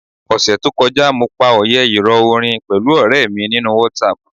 Ọ̀sẹẹ̀ẹ́ to kọjá, mo pa òyẹ́ ìrọ̀ orin pẹ̀lú ọ̀rẹ̀ mi nínú WhatsApp.